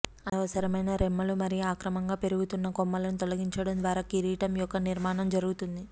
అనవసరమైన రెమ్మలు మరియు అక్రమంగా పెరుగుతున్న కొమ్మలను తొలగించడం ద్వారా కిరీటం యొక్క నిర్మాణం జరుగుతుంది